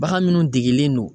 Bagan munnu degelen don